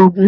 Ògún.